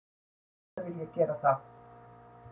Auðvitað vil ég gera það